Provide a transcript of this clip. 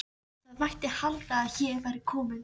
spyr sá stóri jákvæður og framsýnn.